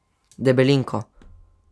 Debelinko.